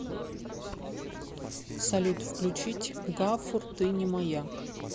салют включить гафур ты не моя